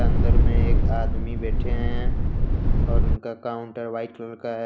अंदर में एक आदमी बैठे हैं और उनका काउंटर व्हाइट कलर का है।